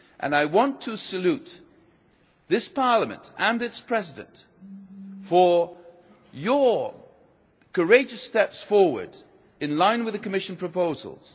I want to salute this Parliament and its President for your courageous steps forward, in line with the Commission proposals.